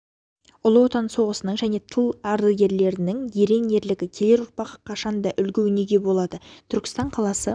ұлы отан соғысының және тыл ардагерлерінің ерен ерлігі келер ұрпаққа қашанда үлгі өнеге болады түркістан қаласы